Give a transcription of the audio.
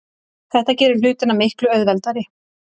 Þetta gerir hlutina miklu auðveldari.